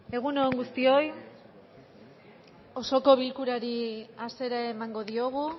egun on osoko bilkurari hasiera emango diogu